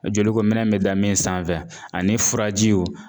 Jolikominɛn bɛ da min sanfɛ ani furajiw